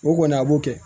O kɔni a b'o kɛ